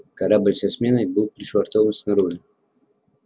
корабль со сменой был пришвартован снаружи